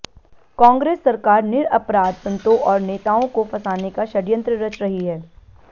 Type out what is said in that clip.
कांग्रेस सरकार निरअपराध संतों और नेताओं को फंसाने का षडय़ंत्र रच रही है